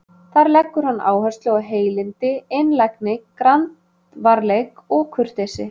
Þar leggur hann áherslu á heilindi, einlægni, grandvarleik og kurteisi.